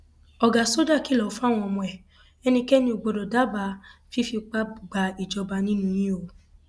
ọgá sọjà kìlọ fáwọn ọmọ ẹ ẹnikẹni ò gbọdọ dábàá fífipá gbàjọba nínú yín o